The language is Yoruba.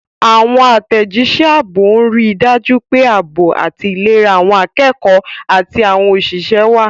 Àwọn àtẹ̀jíṣẹ́ ààbò ń rí i dájú pé ààbò àti ìlera àwọn akẹ́kọ̀ọ́ àti àwọn òṣìṣẹ́ wà.